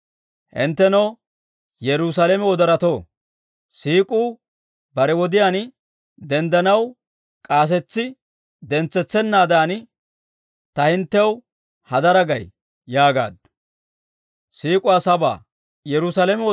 Hinttenoo Yerusaalame wodoratoo, Siik'uu bare wodiyaan denddanaw, k'aasetsi dentsetsennaadan, ta hinttew hadaraa gay yaagaaddu.